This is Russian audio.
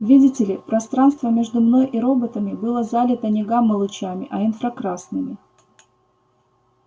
видите ли пространство между мной и роботами было залито не гамма-лучами а инфракрасными